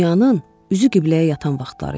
Dünyanın üzü qibləyə yatan vaxtları idi.